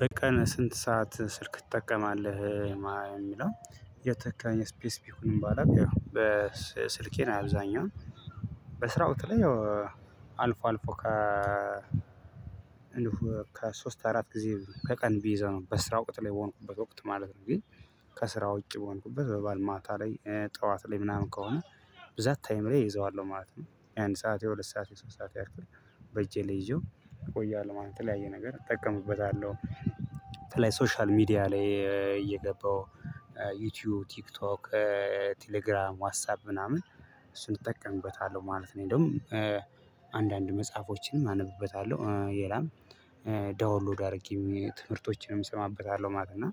በቀን ስንት ሰዓት ስልክ ትጠቀማለህ? ሚለው የተካኝ ስፔስ ቢሆንም ባላቅ ያው በስልኬ አብዛኛው በስራ ወቅት ላይ ያውው አልፎ አልፎ ከ እንዲሁ ከሶስት አራት ጊዜ ከቀን ቢይዘው በስራው ወቅት ላይ በሆንኩበት ወቅት ማለት ነው። ግን ከስራ ውጪ በሆንኩበት በባል ማታ ላይ ጠዋት ላይ ምናምን ከሆነ ብዛት ታይም ላይ እይዘዋለሁ ማለት ነው። የአንድ ሰዓት የሁለት ሰዓት የሶስት ሰዓት ያክል በእጄ ላይ ይዤው እቆያለሁ ማለት የተለያየ ነገር እጠቀምበታለሁ። በተለይ ሶሻል ሚዲያ ላይ እየገባው ዩቲዩብ ቲክቶክ ቴሌግራም ዋስታብ ምናምን እሱን እጠቀምበታለሁ ማለት ነው። ደግሞ አንዳንድ መጽሐፎችንም አነብበታለሁ የላም ዳውንሎድ አድርጌ ትምህርቶችንም እሰማበታለሁ ማለት ነው።